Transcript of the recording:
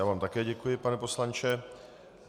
Já vám také děkuji, pane poslanče.